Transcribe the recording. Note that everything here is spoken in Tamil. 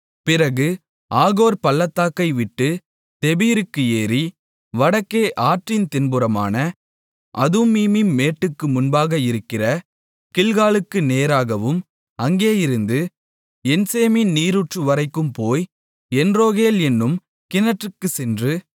பிறகு ஆகோர் பள்ளத்தாக்கைவிட்டுத் தெபீருக்கு ஏறி வடக்கே ஆற்றின் தென்புறமான அதும்மீமின் மேட்டுக்கு முன்பாக இருக்கிற கில்காலுக்கு நேராகவும் அங்கேயிருந்து என்சேமேசின் நீரூற்றுவரைக்கும் போய் என்ரோகேல் என்னும் கிணற்றுக்குச் சென்று